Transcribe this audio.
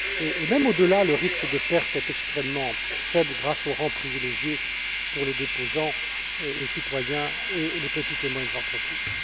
Et même au delà, le risque de perte est extrêmement faible grâce au rang privilégié pour les déposants, les citoyens et les petites et moyennes entreprises.